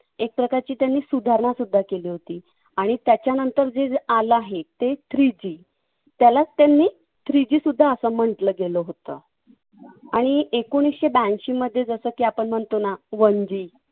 एकप्रकारची त्यांनी सुधारणसुद्धा केली होती. आणि त्याच्यानंतर जे आलं आहे ते three G त्यालाच त्यांनी three G असं म्हंटल गेलं होतं. आणि एकोणीसशे ब्याऐंशीमध्ये जसं की आपण म्हणतो ना one G